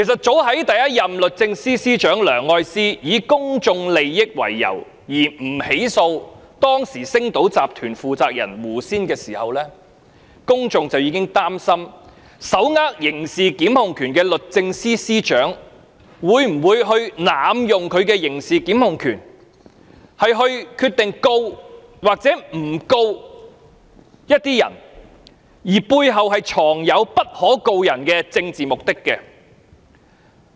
早在第一任律政司司長梁愛詩以公眾利益為由不起訴當時星島新聞集團有限公司負責人胡仙的時候，公眾已開始憂慮手握刑事檢控權的律政司司長會否因其背後藏有不可告人的政治目的而濫用其刑事檢控權，決定是否檢控某些人。